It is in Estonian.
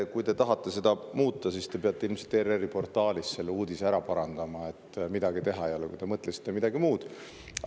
Kui te tahate seda muuta, siis te peate ilmselt ERR‑i portaalis selle uudise ära parandama, midagi teha ei ole, kui te tegelikult mõtlesite midagi muud.